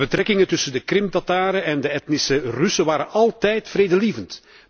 De betrekkingen tussen de Krim Tataren en de etnische Russen waren altijd vredelievend.